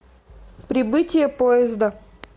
прибытие поезда